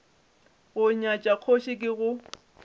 go nyatša kgoši ke go